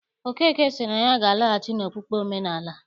Okeke sị na ya ga-anaghachi n'okpukpe omenaala.